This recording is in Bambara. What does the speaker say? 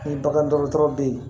Ni bagan dɔgɔtɔrɔ bɛ yen